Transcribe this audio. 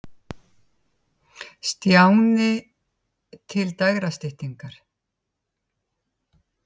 Stjána til dægrastyttingar.